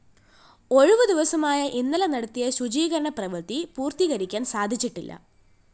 ഒഴിവുദിവസമായ ഇന്നലെ നടത്തിയ ശുചീകരണ പ്രവൃത്തി പൂര്‍ത്തികരിക്കാന്‍ സാധിച്ചിട്ടില്ല